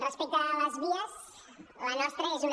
respecte a les vies la nostra és una